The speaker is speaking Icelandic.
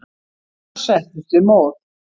Svo settumst við móð.